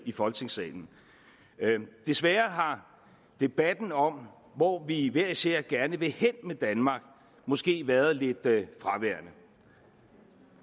i folketingssalen desværre har debatten om hvor vi hver især gerne vil hen med danmark måske været lidt fraværende